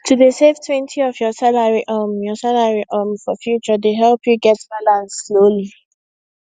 to dey savetwentyof your salary um your salary um for future dey help you get balance slowly